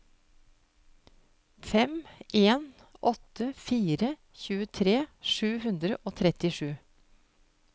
fem en åtte fire tjuetre sju hundre og trettisju